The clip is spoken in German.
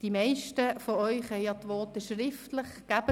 Die meisten von Ihnen besitzen schriftliche Fassungen Ihrer Voten;